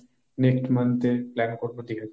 next month এর plan করব দীঘা যাবার।